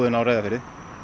á Reyðarfirði